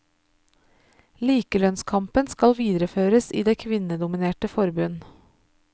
Likelønnskampen skal videreføres i det kvinnedominerte forbund.